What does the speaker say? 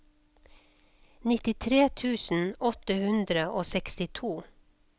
nittitre tusen åtte hundre og sekstito